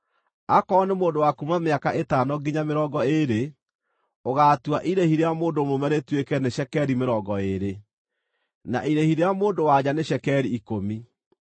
Aakorwo nĩ mũndũ wa kuuma mĩaka ĩtano nginya mĩrongo ĩĩrĩ, ũgaatua irĩhi rĩa mũndũ mũrũme rĩtuĩke nĩ cekeri mĩrongo ĩĩrĩ, na irĩhi rĩa mũndũ-wa-nja nĩ cekeri ikũmi.